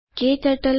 hello everybody